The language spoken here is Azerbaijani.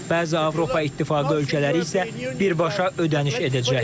Bəzi Avropa İttifaqı ölkələri isə birbaşa ödəniş edəcəklər.